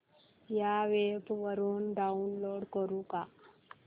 या वेब वरुन डाऊनलोड करू का